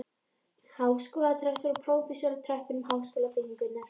Háskólarektor og prófessorar á tröppum háskólabyggingar.